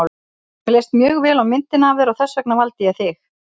Mér leist mjög vel á myndina af þér og þess vegna valdi ég þig.